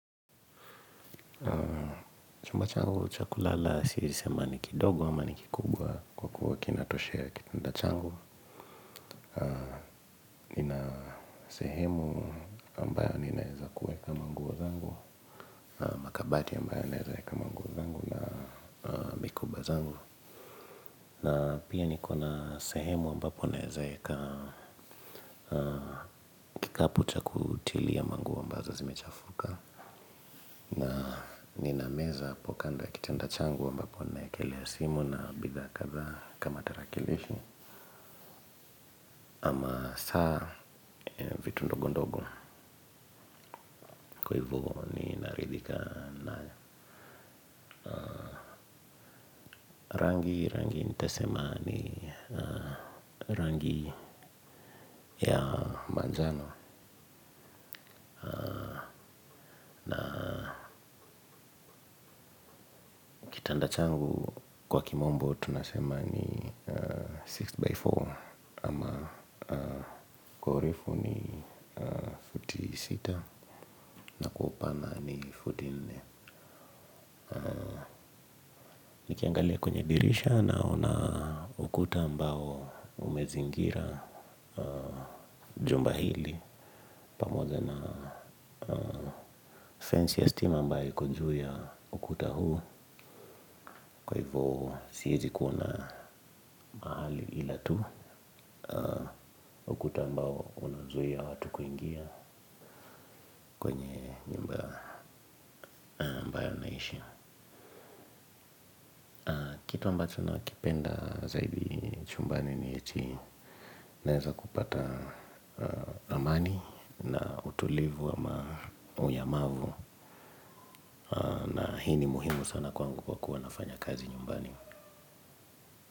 Chumba changu cha kulala siezi sema ni kidogo ama ni kikubwa kwa kuwa kinatoshea kitanda changu. Nina sehemu ambayo ninaeza kuweka manguo zangu. Makabati ambayo naeza eka manguo zangu. Na pia niko na sehemu ambapo naeza eka kikapu cha kutilia manguo ambazo zimechafuka. Nina meza hapo kanda ya kitanda changu ambapo naekelea simu na bidhaa kadhaa kama tarakilishi ama saa vitu ndogo ndogo kwa hivo ninaridhika na rangi, rangi nitasema ni rangi ya manjano. Na kitanda changu kwa kimombo tunasema ni 6x4 ama kwa urefu ni futi sita na kwa upana ni futi nne. Nikiangalia kwenye dirisha naona ukuta ambao umezingira jumba hili pamoja na fancy esteem ambayo iko juu ya ukuta huu kwa hivyo siezi kuona hali ila tu ukuta ambao unazuia watu kuingia naishi. Kitu ambacho nakipenda zaidi chumbani ni eti naeza kupata amani na utulivu wa ama unyamavu na hii ni muhimu sana kwangu kwa kuwa nafanya kazi nyumbani.